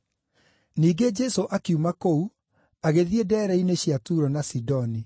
Ningĩ Jesũ akiuma kũu, agĩthiĩ ndeere-inĩ cia Turo na Sidoni.